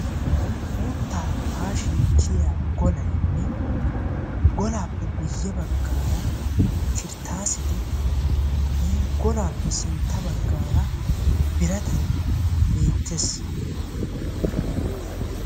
uuttaa haashin kiyiyaa golaynne golaappe guye bagaara kirtasetti iin golaappe sintta bagaara biratay beetees.